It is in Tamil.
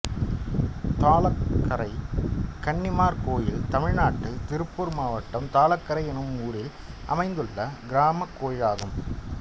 தாளக்கரை கன்னிமார் கோயில் தமிழ்நாட்டில் திருப்பூர் மாவட்டம் தாளக்கரை என்னும் ஊரில் அமைந்துள்ள கிராமக் கோயிலாகும்